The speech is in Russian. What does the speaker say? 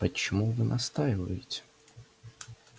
почему вы настаиваете